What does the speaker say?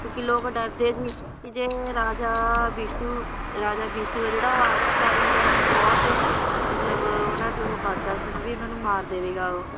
ਕਿਉਕਿ ਲੋਕ ਡਰਦੇ ਸੀ ਕਿ ਜੇ ਰਾਜਾ ਬਿਸੁ, ਰਾਜਾ ਬਿਸੁ ਆ ਜਿਹੜਾ ਉਹ ਆ ਗਿਆ ਉਹ ਕਾਰੀਗਰਾਂ ਨੂੰ ਬਹੁਤ ਮਤਲਬ ਉਹਨਾਂ ਤੇ ਉਹ ਕਰਦਾ ਸੀ ਨਾ ਵੀ ਇਹਨਾਂ ਨੂੰ ਮਾਰ ਦੇਵੇਗਾ ਉਹ